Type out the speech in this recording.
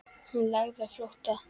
Hann lagði á flótta.